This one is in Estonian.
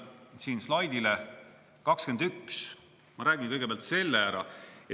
Ma viitan siin slaidile 21, ma räägin kõigepealt selle ära.